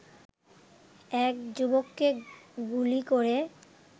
এক যুবককে গুলি করে